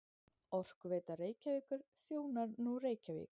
Orkuveita Reykjavíkur þjónar nú Reykjavík